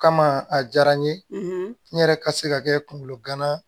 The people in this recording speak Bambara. O kama a diyara n ye n yɛrɛ ka se ka kɛ kunkolo gana